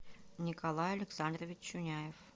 николай александрович чуняев